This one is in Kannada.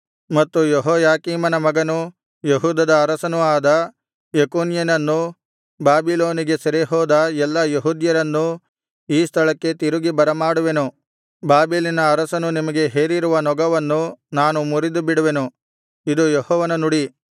ಮತ್ತು ಯೆಹೋಯಾಕೀಮನ ಮಗನೂ ಯೆಹೂದದ ಅರಸನೂ ಆದ ಯೆಕೊನ್ಯನನ್ನೂ ಬಾಬಿಲೋನಿಗೆ ಸೆರೆಹೋದ ಎಲ್ಲಾ ಯೆಹೂದ್ಯರನ್ನೂ ಈ ಸ್ಥಳಕ್ಕೆ ತಿರುಗಿ ಬರಮಾಡುವೆನು ಬಾಬೆಲಿನ ಅರಸನು ನಿಮಗೆ ಹೇರಿರುವ ನೊಗವನ್ನು ನಾನು ಮುರಿದುಬಿಡುವೆನು ಇದು ಯೆಹೋವನ ನುಡಿ